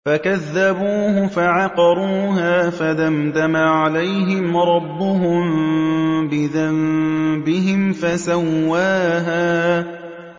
فَكَذَّبُوهُ فَعَقَرُوهَا فَدَمْدَمَ عَلَيْهِمْ رَبُّهُم بِذَنبِهِمْ فَسَوَّاهَا